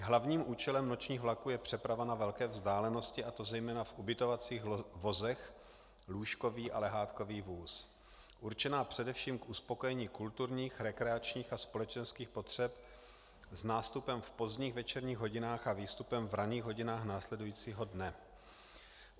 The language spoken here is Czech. Hlavním účelem nočních vlaků je přeprava na velké vzdálenosti, a to zejména v ubytovacích vozech, lůžkový a lehátkový vůz, určená především k uspokojení kulturních, rekreačních a společenských potřeb s nástupem v pozdních večerních hodinách a výstupem v ranních hodinách následujícího dne.